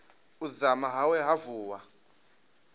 u dzama hawe ha vuwa